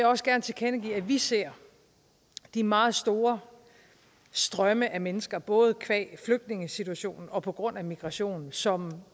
også gerne tilkendegive at vi ser de meget store strømme af mennesker både qua flygtningesituationen og på grund af migrationen som